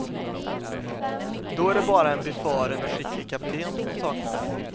Då är det bara en befaren och skicklig kapten som saknas.